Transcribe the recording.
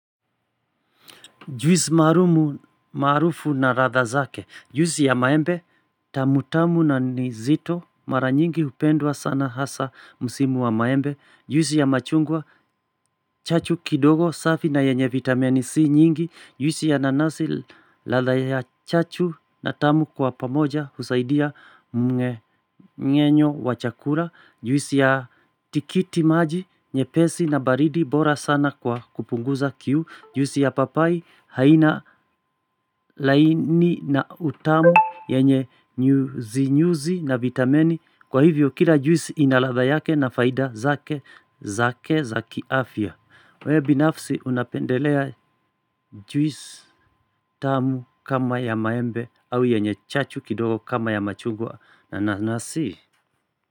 Juisi maalumu maarufu na ladha zake. Juisi ya maembe tamutamu na nizito mara nyingi hupendwa sana hasa musimu wa maembe. Juisi ya machungwa chachu kidogo safi na yenye vitamini C nyingi. Juisi ya nanasi ladha ya chachu na tamu kwa pamoja husaidia mge ngenyo wa chakula. Juisi ya tikiti maji nye pesi na baridi bora sana kwa kupunguza kiu. Juisi ya papai haina laini na utamu yenye nyuzi na vitamini Kwa hivyo kila juisi inaladha yake na faida zake za kiafya wewe binafsi unapendelea juisi utamu kama ya maembe au yenye chachu kidogo kama ya machungwa nanasi.